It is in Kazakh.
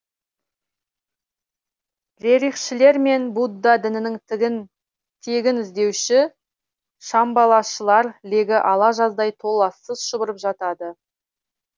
рерихшілер мен будда дінінің тегін іздеуші шамбалашылар легі ала жаздай толассыз шұбырып жатады